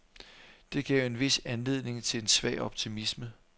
Det gav en vis anledning til en svag optimisme.